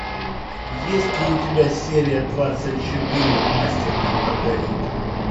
есть ли у тебя серия двадцать четыре мастер и маргарита